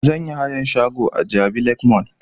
Zan yi hayan shago a jabi lake mall